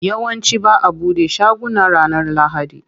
Yawanci ba'a bude shaguna ranar lahadi.